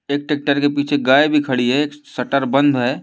एक ट्रैक्टर के पीछे गाय भी खड़ी है एक शटर बंद है।